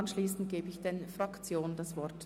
Danach gebe ich den Fraktionen das Wort.